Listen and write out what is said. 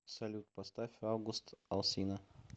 салют поставь аугуст алсина